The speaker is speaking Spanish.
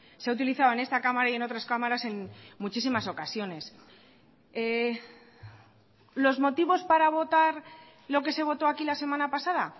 se ha utilizado en esta cámara y en otras cámaras en muchísimas ocasiones los motivos para votar lo que se votó aquí la semana pasada